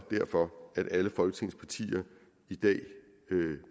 at alle folketingets partier i dag